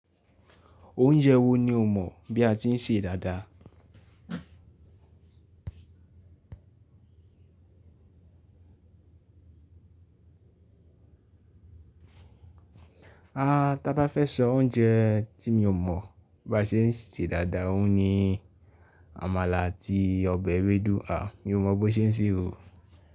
Oúnjẹ wo ni o mọ̀ bí a ti ń ṣe dáadáa? A, tá bá fẹ́ sọ oúnjẹ tí mi ò mọ̀ bí a ṣe ń ṣe dáadáa, òun ni àmàlà àti ọbẹ̀ ewédú. À, mi ò mọ̀ bó ṣe ń ṣe òun.